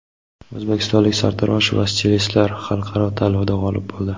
O‘zbekistonlik sartarosh va stilistlar xalqaro tanlovda g‘olib bo‘ldi .